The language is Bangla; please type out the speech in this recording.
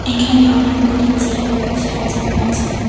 এখানে অনেকগুলি চেয়ার সাজানো আছে।